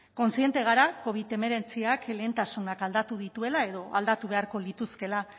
kontziente gara covid hemeretziak lehentasunak aldatu dituela edo aldatu beharko lituzkeela